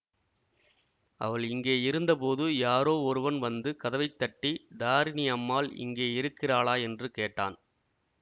அவள் இங்கே இருந்தபோது யாரோ ஒருவன் வந்து கதவை தட்டி தாரிணி அம்மாள் இங்கே இருக்கிறாளா என்று கேட்டான்